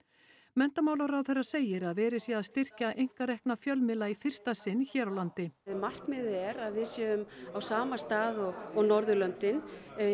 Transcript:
menntamálaráðherra segir að verið sé að styrkja einkarekna fjölmiðla í fyrsta sinn hér á landi markmiðið er að við séum á sama stað og og Norðurlöndin